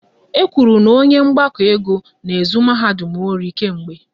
E kwuru na onye mgbakọ ego n'ezu mahadum ọri kemgbe